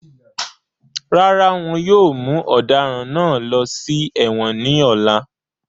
Rárá wọn yóò mu ọ̀daràn náà lọ sí èwọ̀n ní ọ̀la